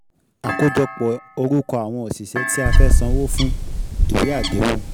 Àkójọpọ̀ orúkọ àwọn òṣìṣẹ́ tí a fẹ́ san owó fún, ìwé àdéhùn.